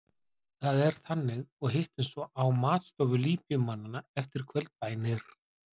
Það er þannig og hittumst svo á matstofu Líbíumannanna eftir kvöldbænir.